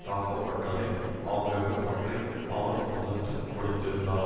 தாக்கப்பட்டதை ஆகியவை பற்றி அவர் தொகுத்து கொடுத்திருந்தார்